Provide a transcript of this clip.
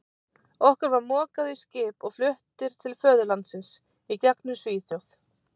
Okkur var mokað í skip og fluttir til föðurlandsins í gegnum Svíþjóð.